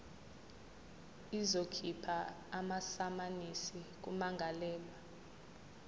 izokhipha amasamanisi kummangalelwa